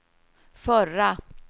förra